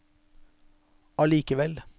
allikevel